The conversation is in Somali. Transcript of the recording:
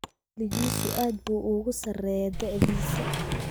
Caqligiisu aad buu uga sarreeyaa da'diisa